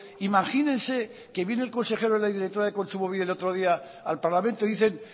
imagínese que viene el consejero y la directora de kontsumobide el otro día al parlamento y dicen